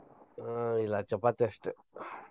ಆ ಇಲ್ಲಾ ಚಪಾತಿ ಅಷ್ಟ.